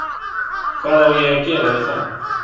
Hvað á ég að gera við það?